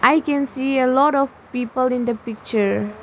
i can see a lot of people in the picture.